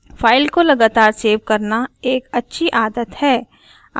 file को लगातार save करना एक अच्छी आदत है